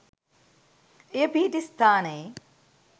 එය පිහිටි ස්ථානයේ